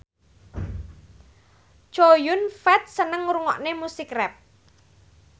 Chow Yun Fat seneng ngrungokne musik rap